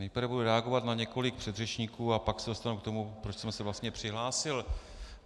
Nejprve budu reagovat na několik předřečníků a pak se dostanu k tomu, proč jsem se vlastně přihlásil.